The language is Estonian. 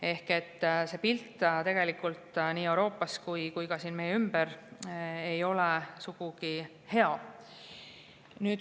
Ehk see pilt nii Euroopas kui ka siin meie ümber ei ole sugugi hea.